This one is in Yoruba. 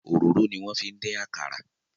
Òróró ni wọ́n fi ń dín àkàrà.